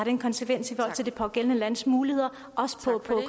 en konsekvens i forhold til det pågældende lands muligheder også for